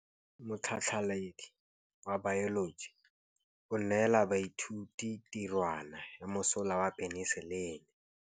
Motlhatlhaledi wa baeloji o neela baithuti tirwana ya mosola wa peniselene.